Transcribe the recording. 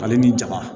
Ale ni ja ma